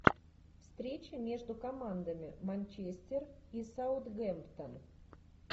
встреча между командами манчестер и саутгемптон